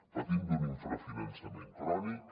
patim d’un infrafinançament crònic